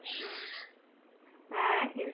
হ্যাঁ কিন্তু,